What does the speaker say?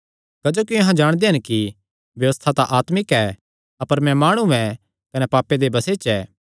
क्जोकि अहां जाणदे हन कि व्यबस्था तां आत्मिक ऐ अपर मैं माणु ऐ कने पापे दे बसे च ऐ